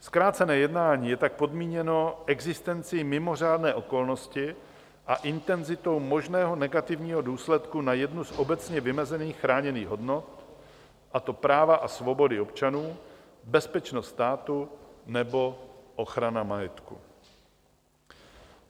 Zkrácené jednání je tak podmíněno existencí mimořádné okolnosti a intenzitou možného negativního důsledku na jednu z obecně vymezených chráněných hodnot, a to práva a svobody občanů, bezpečnost státu nebo ochrana majetku.